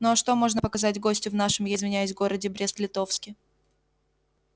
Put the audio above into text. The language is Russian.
ну а что можно показать гостю в нашем я извиняюсь городе брест литовске